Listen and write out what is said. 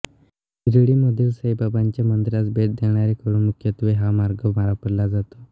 शिर्डीमधील साईबाबांच्या मंदिरास भेट देणाऱ्यांकडून मुख्यत्वे हा मार्ग वापरला जातो